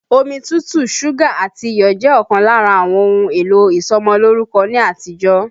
Omi tútù, súgà àti iyọ̀ jẹ́ ọ̀kan lára àwọn ohun èlò ìsọmọlórúkọ ní àtijọ́